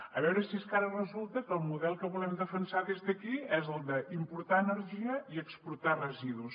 a veure si és que ara resulta que el model que volem defensar des d’aquí és el d’importar energia i exportar residus